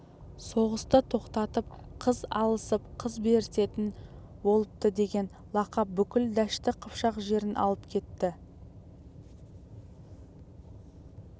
соғысты тоқтатып қыз алысып қыз берісетін болыптыдеген лақап бүкіл дәшті қыпшақ жерін алып кетті